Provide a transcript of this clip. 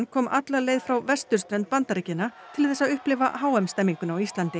kom alla leið frá vesturströnd Bandaríkjanna til þess að upplifa h m stemninguna á Íslandi